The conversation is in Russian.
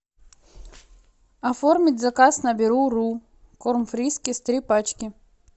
оформить заказ на беру ру корм фрискис три пачки